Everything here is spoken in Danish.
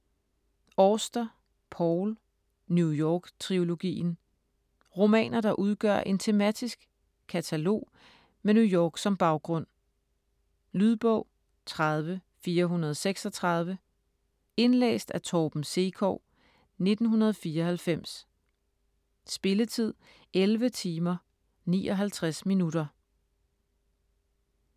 Auster, Paul: New York trilogien Romaner, der udgør en tematisk katalog med New York som baggrund. Lydbog 30436 Indlæst af Torben Sekov, 1994. Spilletid: 11 timer, 59 minutter.